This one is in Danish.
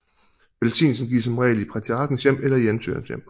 Velsignelsen gives som regel i patriarkens hjem eller i ansøgerens hjem